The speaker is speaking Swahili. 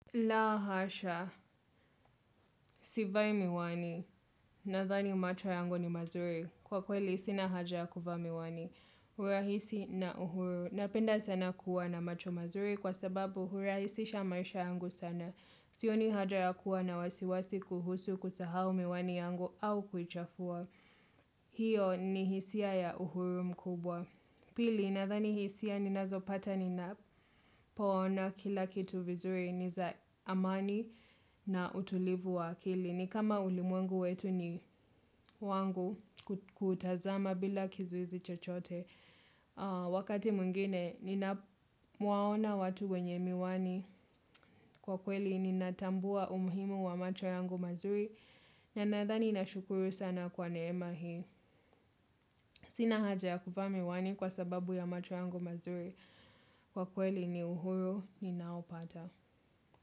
La hasha, sivai miwani, nathani macho yangu ni mazuri, kwa kweli sina haja ya kuvaa miwani, hurahisi na uhuru, napenda sana kuwa na macho mazuri kwa sababu hurahisisha maisha yangu sana, sioni haja ya kuwa na wasiwasi kuhusu kusahau miwani yangu au kuchafua, hiyo ni hisia ya uhuru mkubwa. Pili, nathani hisia ninazopata ninapo ona kila kitu vizuri, niza amani na utulivu wa akili. Ni kama ulimwengu wetu ni wangu kutazama bila kizuizi chochote au Wakati mwingine, ninapowaona watu wenye miwani. Kwa kweli, ninatambua umuhimu wa macho yangu mazuri. Na nathani nashukuru sana kwa neema hii. Sina haja ya kuvaa miwani kwa sababu ya macho yangu mazuri. Kwa kweli ni uhuru ninaopata.